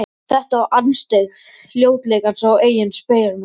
Þetta var andstyggð ljótleikans á eigin spegilmynd.